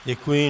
Děkuji.